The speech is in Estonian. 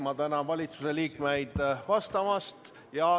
Ma tänan valitsuse liikmeid vastamast.